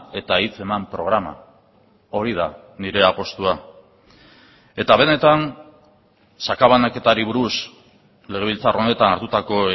eta hitz eman programa hori da nire apustua eta benetan sakabanaketari buruz legebiltzar honetan hartutako